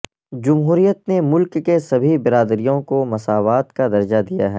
جمہوریت نے ملک کے سبھی برادریوں کو مساوات کا درجہ دیا ہے